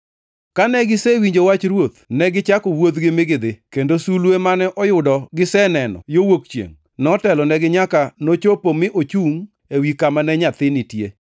Kane gisewinjo wach ruoth, negichako wuodhgi mi gidhi, kendo sulwe mane oyudo giseneno yo wuok chiengʼ notelonigi nyaka nochopo mi ochungʼ ewi kama ne nyathi nitie.